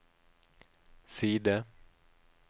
side